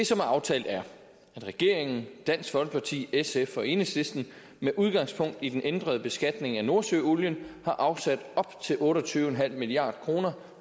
som er aftalt er at regeringen dansk folkeparti sf og enhedslisten med udgangspunkt i den ændrede beskatning af nordsøolien har afsat op til otte og tyve milliard kroner